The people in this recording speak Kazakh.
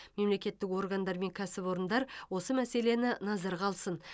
мемлекеттік органдар мен кәсіпорындар осы мәселені назарға алсын